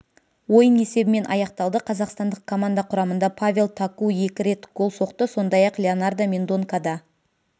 ойын есебімен аяқталды қазақстандық команда құрамында павел таку екі рет гол соқты сондай-ақ леонардо мендонка да